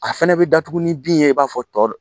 A fana bɛ datugu ni bin ye i b'a fɔ tɔw